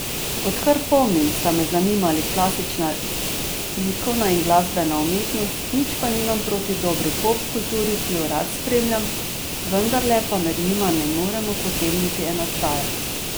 Odkar pomnim, sta me zanimali klasična likovna in glasbena umetnost, nič pa nimam proti dobri pop kulturi, ki jo rad spremljam, vendarle pa med njima ne moremo potegniti enačaja.